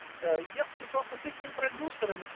э я списался с ихним продюсером